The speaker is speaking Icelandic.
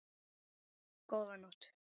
Góða nótt.